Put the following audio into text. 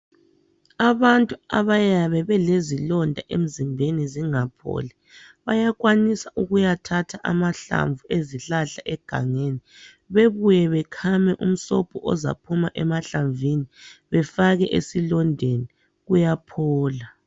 Abantu abayabe belezilonda emzimbeni zingapholi bayakwanisa ukuyathatha amahlamvu ezihlahla egangeni bebuye bekhame umsobho ozaphuma emahlamvini befake esilondeni kuyaphola.